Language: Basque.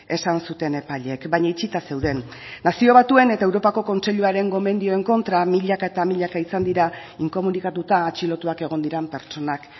esan zuten epaileek baina itxita zeuden nazio batuen eta europako kontseiluaren gomendioen kontra milaka eta milaka izan dira inkomunikatuta atxilotuak egon diren pertsonak